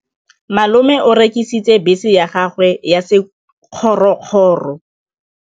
Malome o rekisitse bese ya gagwe ya sekgorokgoro.